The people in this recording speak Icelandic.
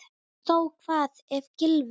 Og þó Hvað ef Gylfi.